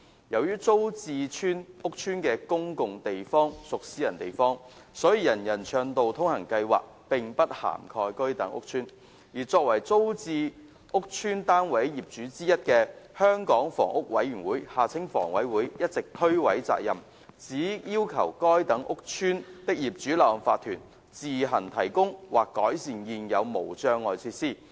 由於租置屋邨的公用地方屬私人地方，所以人人暢道通行計劃並不涵蓋該等屋邨，而作為租置屋邨單位業主之一的香港房屋委員會一直推諉責任，只要求該等屋邨的業主立案法團自行提供或改善現有無障礙設施。